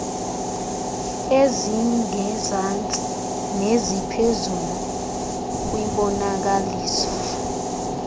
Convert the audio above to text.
ezingezantsi neziphezulu kwimbonakaliso